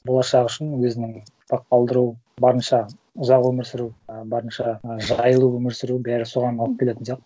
болашағы үшін өзінің барынша ұзақ өмір сүру а барынша а жайлы өмір сүру бәрі соған алып келетін сияқты